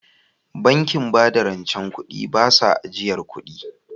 Bankin bada rance ba su a yin ajiyar kudi